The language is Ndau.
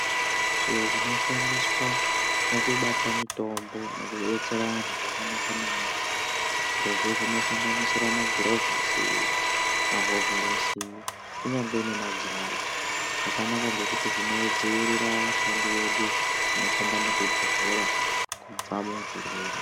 Zviro zvinoshandiswa mukubata mutombo nozvodetsera antu zvakanaka maningi zvirozvo zvi ksanganisira magirovhosi mahovhorosi kunyangwe nemagirazi zvakanaka ngekuti zvibodzivirira vashandi vedu vanoshanda muzvibhedhleya kuti vasbata zvirwere.